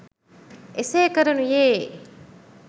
එසේ කරනුයේ